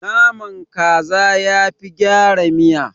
Naman kaza yafi gyara miya.